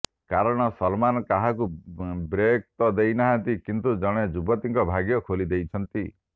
କାରଣ ସଲମାନ୍ କାହାକୁ ବ୍ରେକ୍ ତ ଦେଇ ନାହାନ୍ତି କିନ୍ତୁ ଜଣେ ଯୁବତୀଙ୍କ ଭାଗ୍ୟ ଖୋଲି ଦେଇଛନ୍ତି